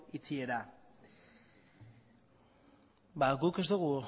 itxiera guk ez dugu